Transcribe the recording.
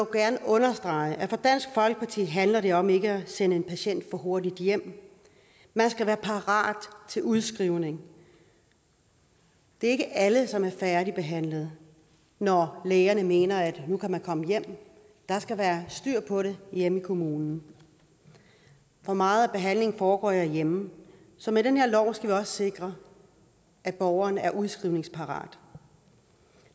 gerne understrege at for dansk folkeparti handler det om ikke at sende en patient for hurtigt hjem man skal være parat til udskrivning det er ikke alle som er færdigbehandlede når lægerne mener at man nu kan komme hjem der skal være styr på det hjemme i kommunen for meget af behandlingen foregår derhjemme så med den her lov skal vi også sikre at borgeren er udskrivningsparat